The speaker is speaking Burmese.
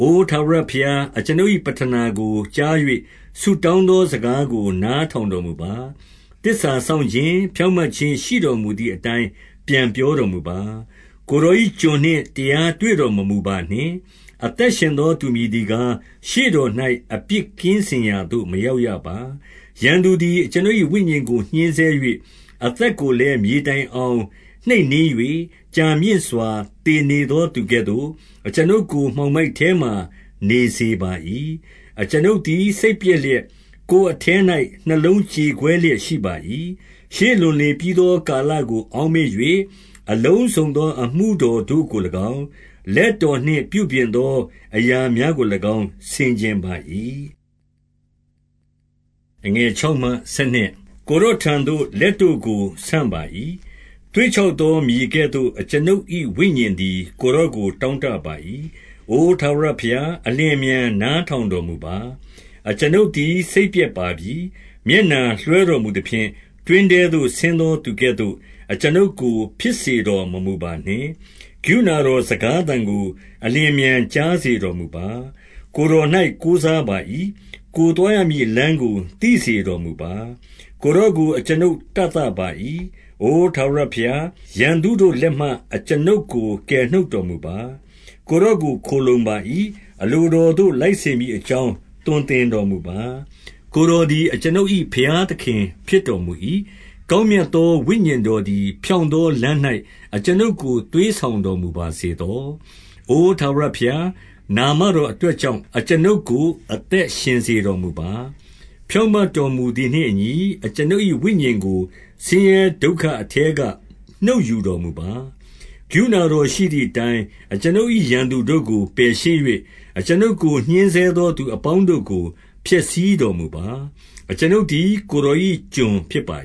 အိုထာဝရဘုရား၊ အကျွန်ုပ်၏ပဌနာကိုကြား၍၊ ဆုတောင်းသော စကားကိုနားထောင်တော်မူပါ။ သစ္စာ စောင့်ခြင်း၊ ဖြောင့်မတ်ခြင်းရှိတော်မူသည်အတိုင်း ပြန် ပြောတော်မူပါ။ ကိုယ်တော်၏ကျွန်နှင့် တရားတွေ့တော်မမူပါ နှင့်။ အသက်ရှင်သောသူမည်သည်ကား၊ ရှေ့တော်၌ အပြစ်ကင်းစင်ရာသို့ မရောက်ရပါ။ ရန်သူသည်အကျွန်ုပ်၏ဝိညာဉ်ကို ညှဉ်းဆဲ၍၊ အသက်ကိုလည်း မြေတိုင်အောင်နှိပ်နင်း၍၊ ကြာမြင့်စွာ သေနေသောသူကဲ့သို့၊ အကျွန်ုပ်ကို မှောင်မိုက်ထဲမှာ နေစေပါ၏။ အကျွန်ုပ်သည်စိတ်ပျက်လျက်၊ ကိုယ်အထဲ၌ နှလုံးကြေကွဲလျက် ရှိပါ၏။ ရှေးလွန်လေပြီးသော ကာလကိုအောက်မေ့၍၊ အလုံးစုံသော အမှုတော်တို့ကို၎င်း၊ လက်တော်နှင့်ပြုပြင် သော အရာများကို၎င်း ဆင်ခြင်ပါ၏။ ကိုယ်တော်ထံသို့ လက်တို့ကို ဆန့်ပါ၏။ သွေ့ ခြောက်သောမြေကဲ့သို့ အကျွန်ုပ်၏ဝိညာဉ်သည် ကိုယ်တော်ကိုတောင့်တပါ၏။ အိုထာဝရဘုရား၊ အလျင်အမြန် နားထောင် တော်မူပါ။ အကျွန်ုပ်သည် စိတ်ပျက်ပါပြီ။ မျက်နှာလွှဲ တော်မူသဖြင့်၊ တွင်းထဲသို့ဆင်းသောသူကဲ့သို့ အကျွန်ုပ်ကို ဖြစ်စေတော်မမူပါနှင့်။ ကရုဏာတော်စကားသံကို အလျင်အမြန်ကြား စေတော်မူပါ။ ကိုယ်တော်၌ကိုးစားပါ၏။ ကိုယ်သွားရမည် လမ်းကိုသိစေတော်မူပါ။ ကိုယ်တော်ကို အကျွန်ုပ်တသ ပါ၏။ အိုထာဝရဘုရား၊ ရန်သူတို့လက်မှ အကျွန်ုပ်ကို ကယ်နှုတ်တော်မူပါ။ ကိုယ်တော်ကိုခိုလှုံပါ၏။ အလိုတော်သို့လိုက်စေမည်အကြောင်း သွန်သင် တော်မူပါ။ ကိုယ်တော်သည် အကျွန်ုပ်၏ဘုရားသခင် ဖြစ်တော်မူ၏။ ကောင်းမြတ်သောဝိညာဉ်တော်သည် ဖြောင့်သောလမ်း၌ အကျွန်ုပ်ကိုသွေးဆောင်တော်မူပါ စေသော။ အိုထာဝရဘုရား၊ နာမတော်အတွက်ကြောင့်၊ အကျွန်ုပ်ကို အသက်ရှင်စေတော်မူပါ။ ဖြောင့်မတ်တော်မူ သည်နှင့်အညီ၊ အကျွန်ုပ်၏ ဝိညာဉ်ကိုဆင်းရဲဒုက္ခအထဲက နှုတ်ယူတော်မူပါ။ ကရုဏာတော်ရှိသည်အတိုင်း၊ အကျွန်ုပ်၏ ရန်သူတို့ကို ပယ်ရှင်း၍၊ အကျွန်ုပ်ကို ညှဉ်းဆဲသော သူအပေါင်းတို့ကို ဖျက်ဆီးတော်မူပါ။ အကျွန်ုပ်သည် ကိုယ်တော်၏ကျွန်ဖြစ်ပါ